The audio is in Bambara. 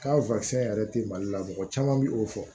K'a yɛrɛ tɛ mali la mɔgɔ caman bɛ o fɔ